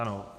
Ano.